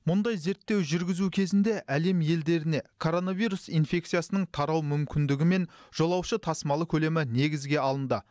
мұндай зерттеу жүргізу кезінде әлем елдеріне коронавирус инфекциясының тарау мүмкіндігі мен жолаушы тасымалы көлемі негізге алынды